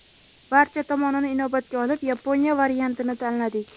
Barcha tomonini inobatga olib, Yaponiya variantini tanladik.